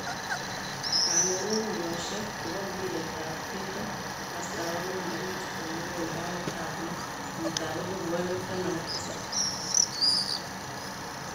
Kong ung unyoshek chebo mbiret tab keldo kastab agwan 22.06.2017.